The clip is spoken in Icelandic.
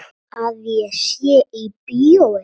Að ég sé í bíói.